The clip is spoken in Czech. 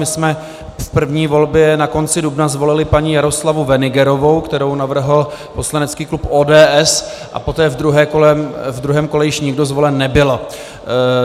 My jsme v první volbě na konci dubna zvolili paní Jaroslavu Wenigerovou, kterou navrhl poslanecký klub ODS, a poté ve druhém kole již nikdo zvolen nebyl.